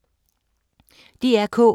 DR K